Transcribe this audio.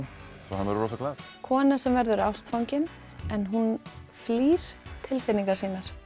verður rosaglaður kona sem verður ástfangin en hún flýr tilfinningar sínar